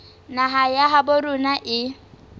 naha ya habo rona e